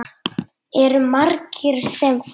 Eru margir sem falla?